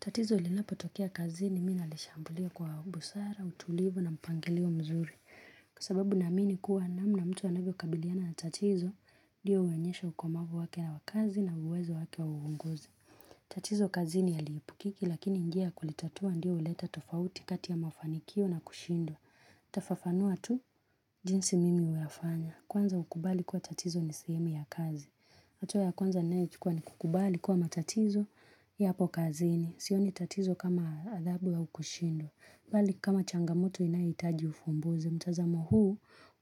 Tatizo linapotokea kazini, mimi nalishambulia kwa busara, utulivu na mpangilio mzuri. Kwa sababu naamini kuwa namna mtu anavyokabiliana na tatizo, ndiyo huonyeshwa ukomavu wake wa kazi na uwezo wake wa uongozi. Tatizo kazini halihepukiki, lakini njia kulitatua ndio huleta tofauti kati ya mafanikio na kushindwa. Nitafafanua tu, jinsi mimi huwa nafanya. Kwanza ukubali kwa tatizo ni sehemu ya kazi. Hatua ya kwanza ninayochukua ni kukubali kuwa matatizo yapo kazini. Sioni tatizo kama adhabu au kushindwa. Bali kama changamoto inayohitaji ufumbuzi. Mtazamo huu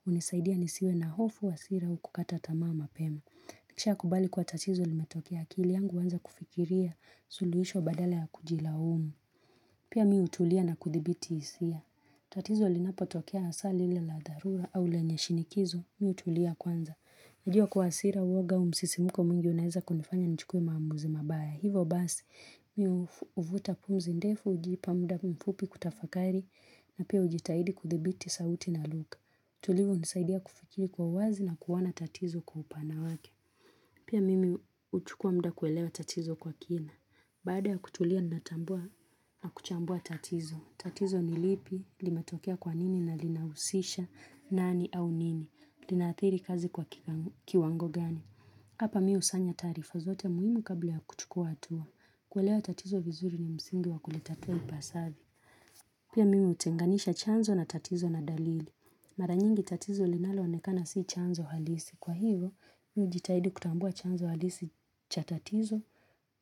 hunisaidia nisiwe na hofu hasira au kukata tamaa mapema. Nikishakubali kuwa tatizo limetokea akili yangu huanza kufikiria suluisho badala ya kujilaumu. Pia mimi hutulia na kudhibiti isia. Tatizo linapotokea hasa lile la dharura au lenye shinikizo mimi hutulia kwanza. Najua kuwa hasira uwoga au msisimuko mwingi unaeza kunifanya nichukue maamuzi mabaya. Hivo basi, mimi huvuta pumzi ndefu hujipa muda mfupi kutafakari na pia hujitahidi kudhibiti sauti na lugha. Utulivu hunisaidia kufikiri kwa uwazi na kuona tatizo kwa upana wake. Pia mimi huchukua muda kuelewa tatizo kwa kina. Bada ya kutulia natambua na kuchambua tatizo. Tatizo ni lipi, limetokea kwa nini na linahusisha, nani au nini. Linaathiri kazi kwa kiwango gani. Hapa mimi husanya taarifa zote muhimu kabla ya kuchukua hatua. Kuelewa tatizo vizuri ni msingi wa kulitatua ipasavyo. Pia mimi hutenganisha chanzo na tatizo na dalili. Mara nyingi tatizo linaloonekana si chanzo halisi. Kwa hivo, nijitahidi kutambua chanzo halisi cha tatizo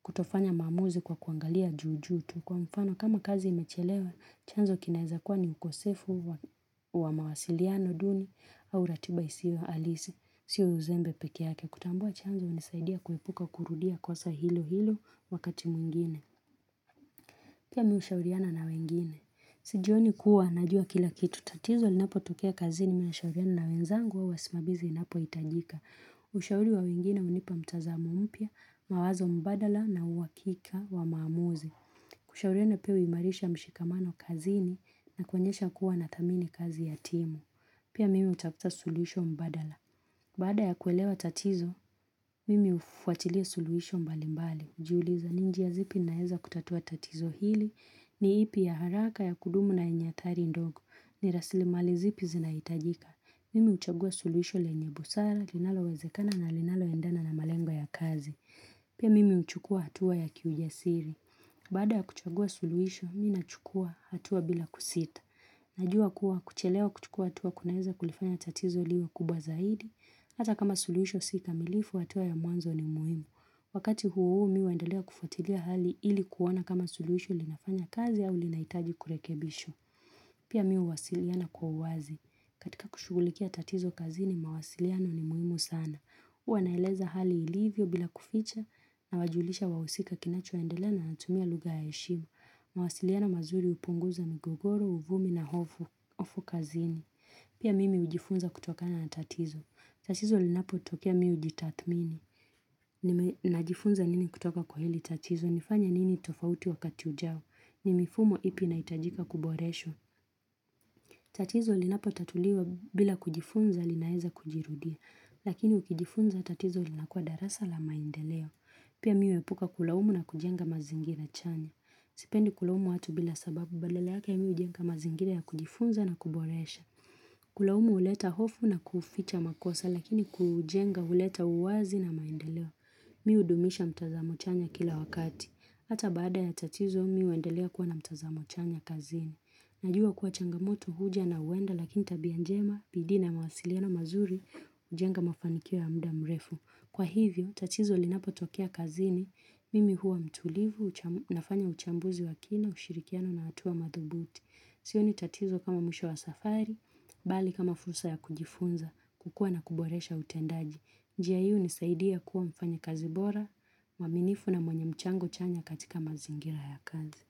kutofanya maamuzi kwa kuangalia juu juu tu. Kwa mfano, kama kazi imechelewa, chanzo kinaweza kuwa ni ukosefu wa mawasiliano duni au ratiba isiyo halisi. Sio uzembe pekee yake. Kutambua chanzo hunisaidia kuepuka kurudia kosa hilo hilo wakati mwingine. Pia mimi hushauriana na wengine. Sijioni kuwa najua kila kitu. Tatizo linapotokea kazini mimi nashauriana na wenzangu au wasimamizi inapohitajika. Ushauri wa wengine hunipa mtazamo mpya, mawazo mbadala na uhakikika wa maamuzi. Kushauriana pia huimarisha mshikamano kazini na kuonyesha kuwa nadhamini kazi ya timu. Pia mimi hutafuta suluhisho mbadala. Baada ya kuelewa tatizo, mimi hufuatilia suluhisho mbali mbali. Hujiuliza ni njia zipi naeza kutatua tatizo hili ni ipi ya haraka ya kudumu na yenya athari ndogo. Ni rasili mali zipi zinahitajika. Mimi huchagua suluhisho lenye busara, linalowezekana na linaloendana na malengo ya kazi. Pia mimi huchukua hatua ya kiujasiri. Baada ya kuchagua suluhisho, mimi nachukua hatua bila kusita. Najua kuwa kuchelewa kuchukua hatua kunaeza kulifanya tatizo liwe kubwa zaidi. Hata kama suluisho si kamilifu hatua ya mwanzo ni muhimu. Wakati huu mi huendelea kufuatilia hali ili kuona kama suluhisho linafanya kazi au linahitaji kurekebishwa. Pia mimi huwasiliana kwa uwazi. Katika kushugulikia tatizo kazini, mawasiliano ni muhimu sana. Huwa naeleza hali ilivyo bila kuficha nawajulisha wahusika kinachoendelea na natumia lugha ya heshima mawasiliano mazuri hupunguza migogoro, uvumi na hofu kazini. Pia mimi hujifunza kutokana na tatizo. Tatizo linapotokea mimi hujitathmini. Najifunza nini kutoka kwa hili tatizo. Nifanye nini tofauti wakati ujao. Ni mifumo ipi inahitajika kuboreshwa. Tatizo linapotatuliwa bila kujifunza linaeza kujirudia, lakini ukijifunza tatizo linakua darasa la maendeleo. Pia mimi huepuka kulaumu na kujenga mazingira chanya. Sipendi kulaumu watu bila sababu badala yake hujenga mazingira ya kujifunza na kuboresha. Kulaumu huleta hofu na kuficha makosa lakini kujenga huleta uwazi na maendeleo. Mimi hudumisha mtazamo chanya kila wakati. Hata baada ya tatizo mimi huendelea kuwa na mtazamo chanya kazini. Najua kuwa changamoto huja na huenda lakini tabia njema bidii na mawasiliano mazuri hujenga mafanikio ya mda mrefu. Kwa hivyo, tatizo linapotokea kazini, mimi huwa mtulivu, nafanya uchambuzi wa kina, ushirikiano na hatua madhubuti. Sioni tatizo kama mwisho wa safari, bali kama fursa ya kujifunza, kukua na kuboresha utendaji. Njia hii hunisaidia kuwa mfanya kazi bora, mwaminifu na mwenye mchango chanya katika mazingira ya kazi.